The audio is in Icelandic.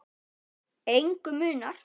Engu munar.